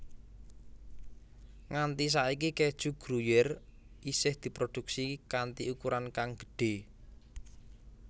Nganti saiki keju Gruyère isih diproduksi kanti ukuran kang gedhé